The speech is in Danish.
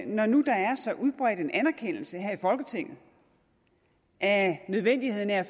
når nu der er så udbredt en anerkendelse her i folketinget af nødvendigheden af at